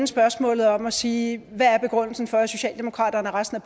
spørgsmålet om og sige hvad er begrundelsen for at socialdemokratiet og resten af